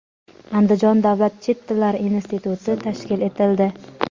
Andijon davlat chet tillari instituti tashkil etildi.